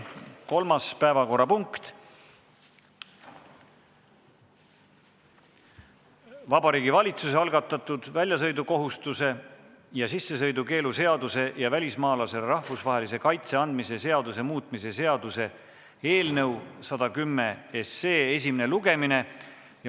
Kolmas päevakorrapunkt on Vabariigi Valitsuse algatatud väljasõidukohustuse ja sissesõidukeelu seaduse ja välismaalasele rahvusvahelise kaitse andmise seaduse muutmise seaduse eelnõu 110 esimene lugemine.